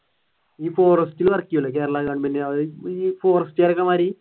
ഈ forest ഇൽ work ചെയൂലെ forest കാറൊക്കെ മാതിരി